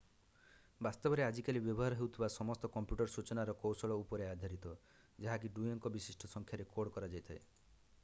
ବାସ୍ତବରେ ଆଜିକାଲି ବ୍ୟବହାର ହେଉଥିବ ସମସ୍ତ କମ୍ପ୍ୟୁଟର୍ ସୂଚନାର କୌଶଳ ଉପରେ ଆଧାରିତ ଯାହାକି ଦୁଇ ଅଙ୍କ ବିଶିଷ୍ଟ ସଂଖ୍ୟାରେ କୋଡ୍ କରାଯାଇଥାଏ